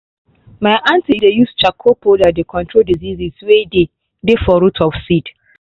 my aunty dey use charcoal powder they control diseases way dey dey for root of seed